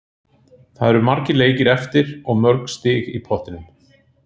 Það eru margir leikir eftir og mörg stig í pottinum.